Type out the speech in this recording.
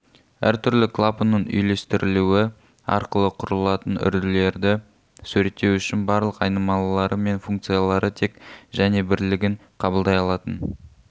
әр түрлі клапанның үйлестірілуі арқылы кұрылатын үрділерді суреттеу үшін барлық айнымалылары мен функциялары тек және бірлігін қабылдай алатын